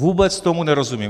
Vůbec tomu nerozumím.